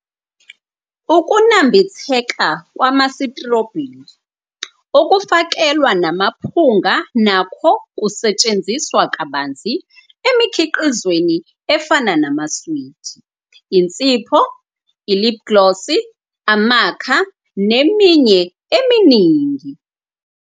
Ukunambitheka kwama-sitrobheli okufakelwa namaphunga nakho kusetshenziswa kabanzi emikhiqizweni efana namaswidi, insipho, i- lip gloss, amakha, neminye eminingi.